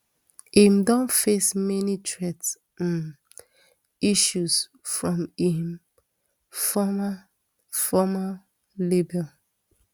im don face many threat um issues from im former former label